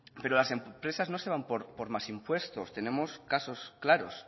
pero las empresas no se van por más impuestos tenemos casos claros